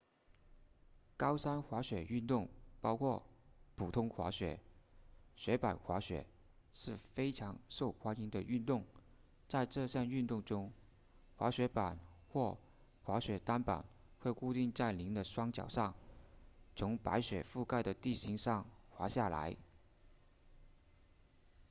高山滑雪运动包括普通滑雪和雪板滑雪是非常受欢迎的运动在这项运动中滑雪板或滑雪单板会固定在您的双脚上从白雪覆盖的地形上滑下来